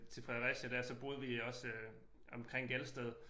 Til Fredericia dér så boede vi også øh omkring Gelsted